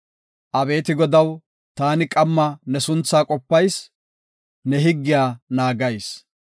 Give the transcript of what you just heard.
Abeeti Godaw, taani qamma ne suntha qopayis; ne higgiya naagayis.